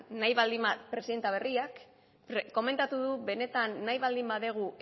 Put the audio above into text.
presidente berriak komentatu du benetan nahi baldin badugu